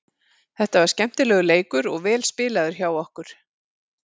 Þetta var skemmtilegur leikur og vel spilaður hjá okkur.